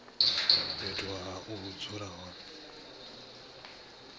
fhethu ha u dzula hone